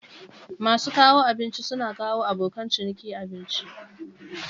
Masu kawo abinci suna kawo abokan ciniki abinci.